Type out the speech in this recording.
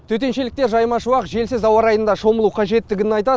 төтеншеліктер жайма шуақ желсіз ауа райында шомылу қажеттігін айтады